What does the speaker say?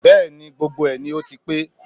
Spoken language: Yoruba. Bẹ́ẹ̀ni, gbogbo ẹ̀ ni ó ti pé